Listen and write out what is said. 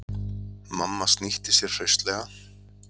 Mamma snýtti sér hraustlega.